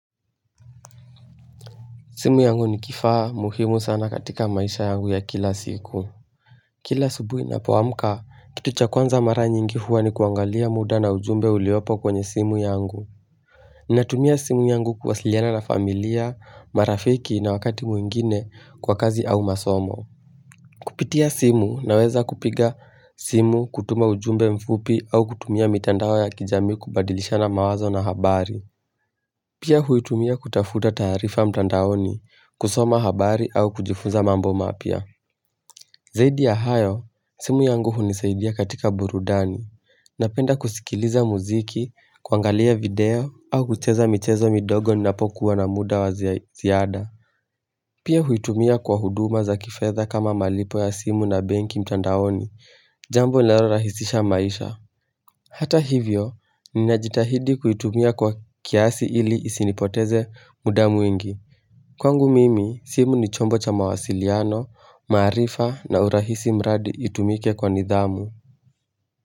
Simu yangu ni kifaa muhimu sana katika maisha yangu ya kila siku. Kila asubuhi ninapoamka, kitu cha kwanza mara nyingi huwa ni kuangalia muda na ujumbe uliopo kwenye simu yangu. Ninatumia simu yangu kuwasiliana na familia, marafiki na wakati mwingine kwa kazi au masomo. Kupitia simu naweza kupiga simu kutuma ujumbe mfupi au kutumia mitandao ya kijamii kubadilishana mawazo na habari. Pia huitumia kutafuta taarifa mtandaoni kusoma habari au kujifunza mambo mapya. Zaidi ya hayo, simu yangu hunisaidia katika burudani. Napenda kusikiliza muziki, kuangalia video au kucheza michezo midogo ninapokuwa na muda wa ziada. Pia huitumia kwa huduma za kifedha kama malipo ya simu na benki mtandaoni. Jamb linalorahisisha maisha. Hata hivyo, ninajitahidi kuitumia kwa kiasi ili isinipotezee muda mwingi. Kwangu mimi, simu ni chombo cha mawasiliano, maarifa na urahisi mradi itumike kwa nidhamu.